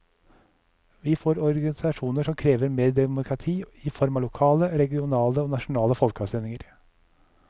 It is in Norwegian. Vi får organisasjoner som krever mer demokrati, i form av lokale, regionale og nasjonale folkeavstemninger.